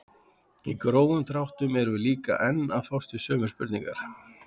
Í grófum dráttum erum við líka enn að fást við sömu spurningar.